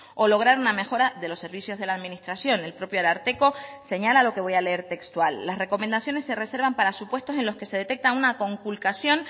o lograr una mejora de los servicios de la administración el propio ararteko señala lo que voy a leer textual las recomendaciones se reservan para supuestos en los que se detecta una conculcación